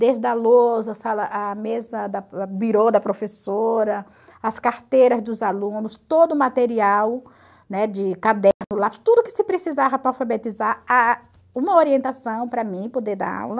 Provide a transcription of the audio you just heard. Desde a lousa, a mesa birô da professora, as carteiras dos alunos, todo o material, né, de caderno, lápis, tudo que se precisava para alfabetizar, uma orientação para mim poder dar aula.